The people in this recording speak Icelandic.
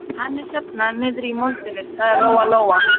Hann er hérna niðri í moldinni, sagði Lóa-Lóa.